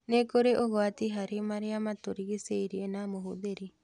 Nĩ kũrĩ ũgwati harĩ maria matũrigicĩirie na mũhũthĩri